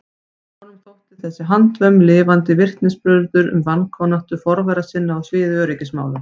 Honum þótti þessi handvömm lifandi vitnisburður um vankunnáttu forvera sinna á sviði öryggismála.